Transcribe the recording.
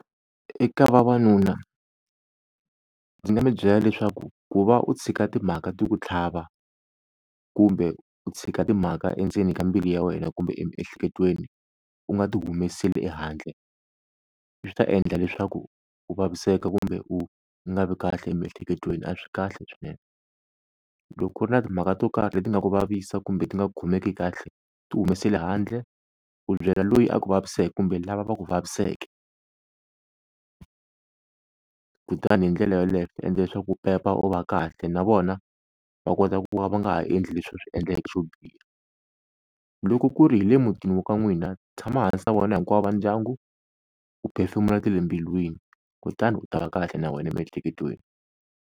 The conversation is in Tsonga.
Eka vavanuna ndzi nga mi byela leswaku ku va u tshika timhaka ti ku tlhava, kumbe u tshika timhaka endzeni ka mbilu ya wena kumbe emiehleketweni u nga ti humeseli ehandle, swi ta endla leswaku u vaviseka kumbe u nga vi kahle emiehleketweni a swi kahle swinene. Loko ku ri na timhaka to karhi leti nga ku vavisa kumbe ti nga ku khomeki kahle ti humeseli handle, u byela loyi a ku vaviseke kumbe lava va ku vaviseke, kutani hi ndlela yoleyo u ta endla leswaku u pepa u va kahle na vona va kota ku va va nga ha endli leswi va swi endleke swo biha. Loko ku ri hi le mutini wa ka n'wina tshama hansi na vona hinkwavo va ndyangu u phefemula ta le mbilwini kutani u ta va kahle na wena emiehleketweni.